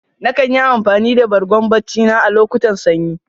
Na kan yi amfani da Bargo barci na a locutan sanyi.